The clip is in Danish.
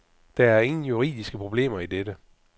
Der er ingen juridiske problemer i dette.